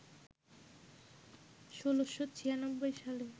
১৬৯৬ সালে